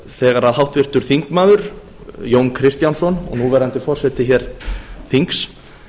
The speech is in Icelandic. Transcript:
þegar háttvirtur þingmaður jón kristjánsson og núverandi forseti hér þings